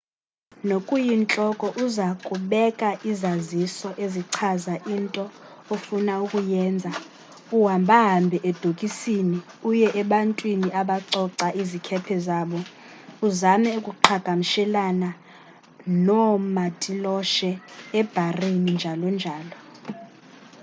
ngokuyintloko uza kubeka izaziso ezichaza into ofuna ukuyenza uhamba hambe edokisini uye ebantwini abacoca izikhephe zabo uzame ukuqhagamshelana noomatiloshe ebharini njl njl